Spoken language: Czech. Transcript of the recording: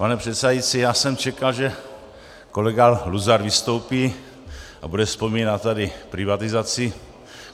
Pane předsedající, já jsem čekal, že kolega Luzar vystoupí a bude vzpomínat tady privatizaci.